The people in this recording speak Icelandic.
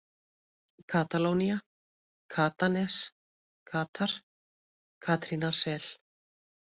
Katalónía, Katanes, Katar, Katrínarsel